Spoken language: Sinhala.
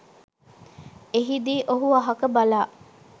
එහිදි ඔහු අහක බලා